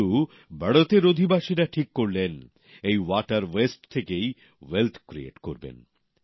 কিন্তু বড়োতের অধিবাসীরা ঠিক করলেন এই বর্জ্য জল থেকেই সম্পদ সৃষ্টি করবেন